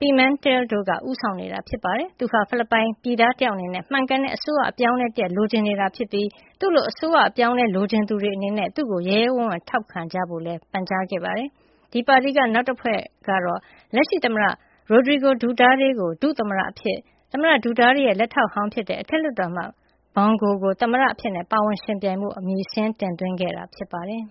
Pimentel III တို့က ဦးဆောင်နေတာ ဖြစ်ပါတယ်။ သူဟာ ဖိလစ်ပိုင်ပြည်သားတယောက် အနေနဲ့ မှန်ကန်တဲ့ အစိုးရ အပြောင်းအလဲတရပ် လိုချင်နေတာ ကြာပြီဖြစ်ပြီး သူ့လို အစိုးရအပြောင်းအလဲ လိုချင်သူတွေအနေနဲ့ သူ့ကို ရဲရဲဝံ့ဝံ့ ထောက်ခံအားပေးကြဖို့လည်း ပန်ကြားခဲ့ပါတယ်။ ဒီပါတီက နောက်အဖွဲ့တဖွဲ့က လက်ရှိသမ္မတ Rodrigo Duterte ကို ဒုသမ္မတအဖြစ်၊ သမ္မတ Duterte ရဲ့ လက်ထောက်ဟောင်းဖြစ်တဲ့ အထက်လွှတ်တော်အမတ် Bong Go ကို သမ္မတအဖြစ် ပါဝင်ယှဉ်ပြိုင်ဖို့ အမည်စာရင်း တင်သွင်းခဲ့တာ ဖြစ်ပါတယ်။